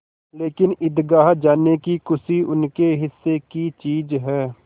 लेकिन ईदगाह जाने की खुशी उनके हिस्से की चीज़ है